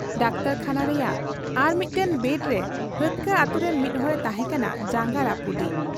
ᱰᱟᱠᱛᱚᱨᱠᱷᱟᱱᱟ ᱨᱮᱭᱟᱜ ᱟᱨᱢᱤᱫᱴᱟᱹᱝ ᱵᱮᱰᱨᱮ ᱦᱟᱹᱛᱠᱟᱹ ᱟᱹᱛᱩᱨᱤᱱ ᱢᱤᱫ ᱦᱚᱲᱮ ᱛᱟᱦᱮᱸ ᱠᱟᱱᱟ ᱡᱟᱝᱜᱟ ᱨᱟᱹᱯᱩᱫᱤᱡ ᱾